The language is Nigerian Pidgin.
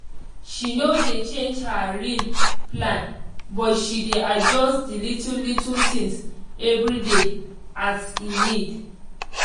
she no dey change her real plan but she dey adjust the little little things every day as e need